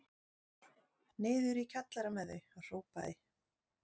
Niður í kjallara með þau hrópaði